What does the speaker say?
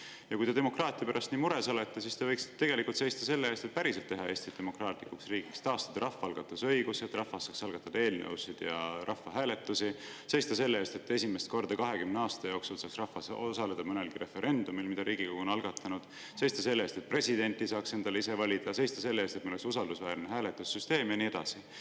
Ja kui te demokraatia pärast nii mures olete, siis te võiksite tegelikult seista selle eest, et Eesti päriselt demokraatlik riik: taastada rahvaalgatuse õigus, et rahvas saaks algatada eelnõusid ja rahvahääletusi, seista selle eest, et esimest korda 20 aasta jooksul saaks rahvas osaleda mõnelgi referendumil, mille Riigikogu on algatanud, seista selle eest, et presidenti saaks endale ise valida, seista selle eest, et meil oleks usaldusväärne hääletussüsteem, ja nii edasi.